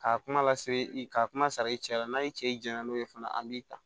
K'a kuma lase i ka kuma sara i cɛ la n'a y'i cɛ i jɛ n'o ye fana an b'i ta